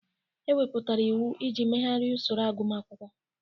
E wepụtara iwu iji megharịa usoro agụmakwụkwọ.